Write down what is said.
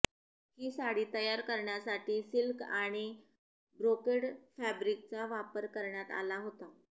ही साडी तयार करण्यासाठी सिल्क आणि ब्रोकेड फॅब्रिकचा वापर करण्यात आला होता